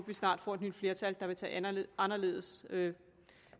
vi snart får et nyt flertal der vil tage anderledes